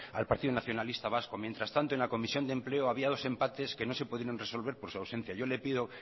al partido nacionalista vasco mientras tanto en la comisión de empleo había dos empates que no se pudieron resolver por su ausencia yo le pido